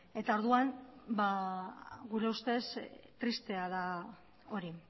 orduan gure ustez tristea da hori